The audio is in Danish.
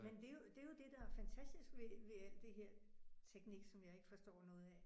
Men det er jo det er jo det der er fantastisk ved ved alt det her teknik som jeg ikke forstår noget af